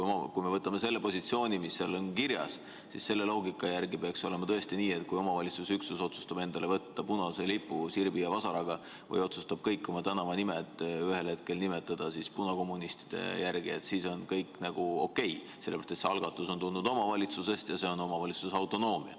Kui me võtame selle positsiooni, mis seal on kirjas, siis selle loogika järgi peaks tõesti olema nii, et kui omavalitsusüksus otsustab endale võtta lipuks punase lipu sirbi ja vasaraga või otsustab kõik oma tänavad ühel hetkel nimetada punakommunistide järgi, siis on kõik nagu okei, sest see algatus on tulnud omavalitsusest ja see on omavalitsuse autonoomia.